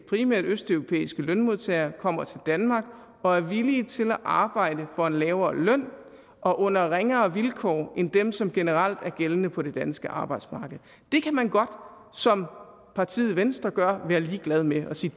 primært østeuropæiske lønmodtagere kommer til danmark og er villige til at arbejde for en lavere løn og under ringere vilkår end dem som generelt er gældende på det danske arbejdsmarked det kan man godt som partiet venstre være ligeglad med og sige